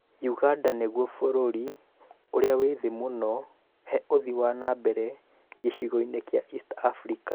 ũganda nĩguo bũrũri ũrĩa wĩ thĩ mũno he ũthii wa na mbere gĩcigo-inĩ kĩa East Africa